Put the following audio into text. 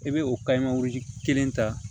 I bɛ o kelen ta